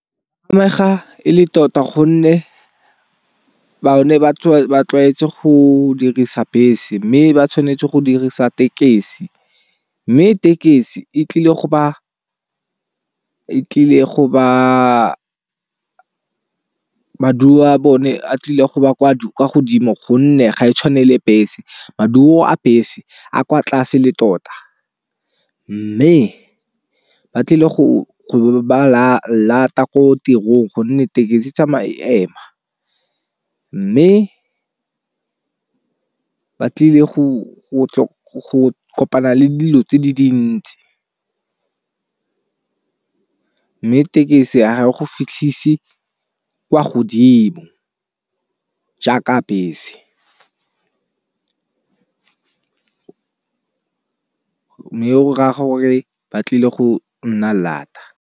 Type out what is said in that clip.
E le tota gonne bone ba tlwaetse go dirisa bese mme ba tshwanetse go dirisa tekesi. Mme tekesi e tlile go ba maduo a bone a tlile go ba kwa godimo gonne ga e tshwane le bese, maduo a bese a kwa tlase le tota. Mme ba tlile go ba lata ko tirong gonne tekesi e tsamaya ema, mme ba tlile go kopana le dilo tse di dintsi. Mme tekesi ya go fitlhisi kwa godimo jaaka bese, mme o gora-gore ba tlile go nna lata.